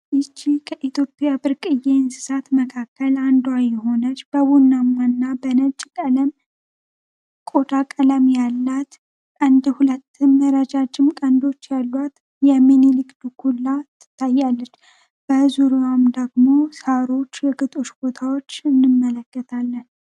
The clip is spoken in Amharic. ይቺ ከኢትዮጵያ ብርቅዬ እንስሳቶች መካከል አንዱ የሆነች የቡናማና ነጭ ቀለም ቆዳ ቀለም ያላት እንዲሁ ሁለት ረጃጅም ቀልዶች ያሏት የሚኒሊክ ድኩላ ትታያለች በዙርያዋን ደግሞ ሳሮች የግጦች ቦታዎች እንመለከታለን።